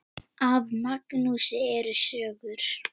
Af Magnúsi eru sögur